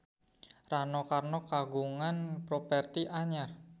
Rano Karno kagungan properti anyar